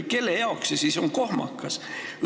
Kelle jaoks see protsess on kohmakas?